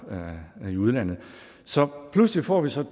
i udlandet så pludselig får vi så